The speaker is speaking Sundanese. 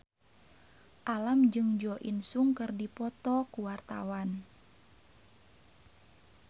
Alam jeung Jo In Sung keur dipoto ku wartawan